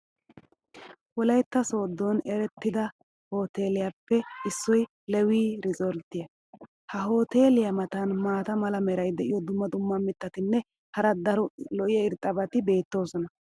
wolaytta soodon erettida hoteeletuppe issoy leewii riisoltiya. ha hoteeliya matan maata mala meray diyo dumma dumma mitatinne hara daro lo'iya irxxabati beetoosona.